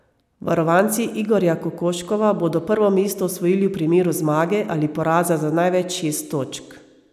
Varovanci Igorja Kokoškova bodo prvo mesto osvojili v primeru zmage ali poraza za največ šest točk.